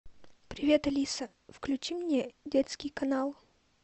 привет алиса включи мне детский канал